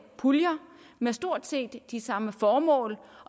puljer med stort set de samme formål